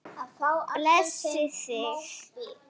Blessi þig.